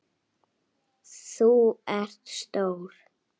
Þú ert stór.